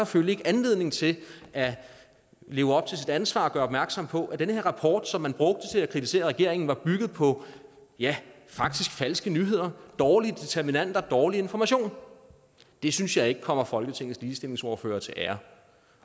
følte anledning til at leve op til sit ansvar og gøre opmærksom på at den her rapport som man brugte til at kritisere regeringen faktisk var bygget på ja falske nyheder dårlige determinanter og dårlig information det synes jeg ikke kommer folketingets ligestillingsordførere til ære